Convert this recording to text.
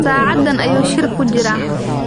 Saacaddan ayuu shir ku jiraa.